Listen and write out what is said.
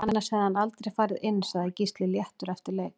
Annars hefði hann aldrei farið inn Sagði Gísli léttur eftir leik